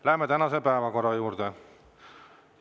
Läheme tänase päevakorra juurde.